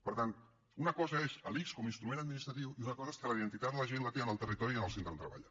per tant una cosa és l’ics com a instrument administratiu i una cosa és que la identitat la gent la té en el territori i en el centre on treballa